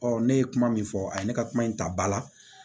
Ɔ ne ye kuma min fɔ a ye ne ka kuma in ta ba la